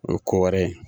O ye ko wɛrɛ ye